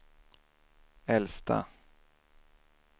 äldsta